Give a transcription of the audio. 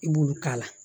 I b'olu k'a la